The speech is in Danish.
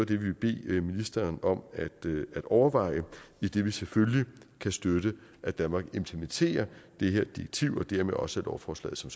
det vi vil bede ministeren om at overveje idet vi selvfølgelig kan støtte at danmark implementerer det her direktiv og dermed også lovforslaget som